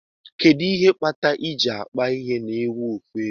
Kedu ihe kpatar iji akpa ehi na ewu ofu ebe?